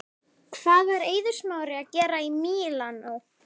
Hvað var Eiður Smári að gera í Mílanó?